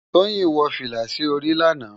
Toyin wò filá si óri làná